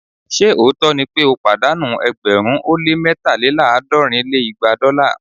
ṣe òótọ́ ni pé ó pàdánù ẹgbẹ̀rún ó lé mẹ́taléláàádọ́rin lé igba dọ́là?